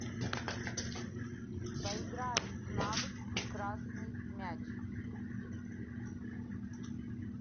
поиграем в навык красный мяч